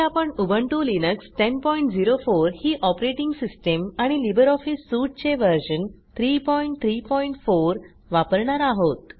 आपण GNU Linux ही operating system आणि लिब्रिऑफिस Suiteचे व्हर्शन 334 वापरणार आहोत